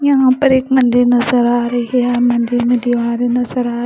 यहाँ पर एक मंदिर नज़र आ रही है मंदिर में दीवार नज़र आ --